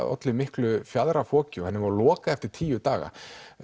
olli miklu fjaðrafoki og henni var lokað eftir tíu daga